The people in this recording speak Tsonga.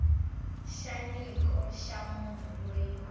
xa nyiko ya munhu loyi